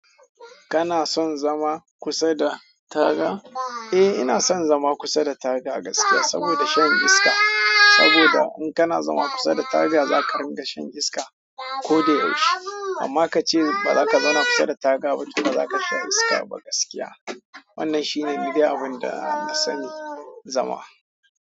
Kana son zama kusa da taga? Eh ina son zama kusa da taga a gaskiya, saboda shan iska. Saboda in kana zama kusa da taga zaka ringa shan iska ko da yaushe. Amma kace bazaka zauna kusa da taga ba, to bazaka sha iska ba gaskiya. Wannan shine ni dai abin da na sani zama.